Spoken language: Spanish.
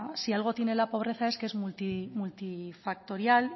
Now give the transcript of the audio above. si algo tiene la pobreza es que multifactorial